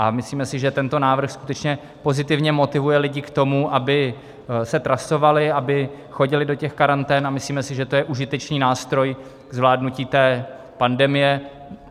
A myslíme si, že tento návrh skutečně pozitivně motivuje lidi k tomu, aby se trasovali, aby chodili do těch karantén, a myslíme si, že to je užitečný nástroj k zvládnutí té pandemie.